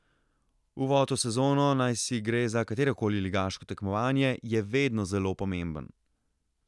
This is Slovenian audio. Uvod v sezono, naj si gre za katerokoli ligaško tekmovanje, je vedno zelo pomemben.